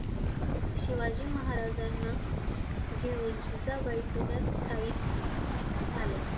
शिवाजी महाराजांना घेऊन जिजाबाई पुण्यात स्थायिक झाल्या.